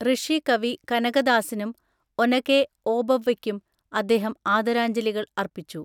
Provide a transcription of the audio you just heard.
ഋഷി കവി കനകദാസിനും ഒനകെ ഓബവ്വയ്ക്കും അദ്ദേഹം ആദരാഞ്ജലികൾ അർപ്പിച്ചു.